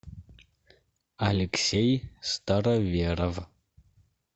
алексей староверов